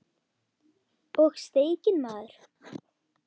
Og steikin maður.